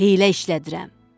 Heylə işlədirəm."